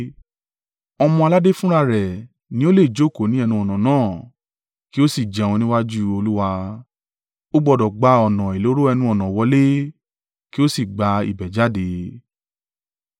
Ọmọ-aládé fúnra rẹ̀ ní o lè jókòó ní ẹnu-ọ̀nà náà kí o sì jẹun níwájú Olúwa. Ó gbọdọ̀ gba ọ̀nà ìloro ẹnu-ọ̀nà wọlé kí ó sì gba ibẹ̀ jáde.”